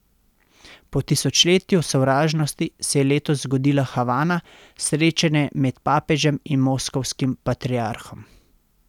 Po tisočletju sovražnosti se je letos zgodila Havana, srečanje med papežem in moskovskim patriarhom.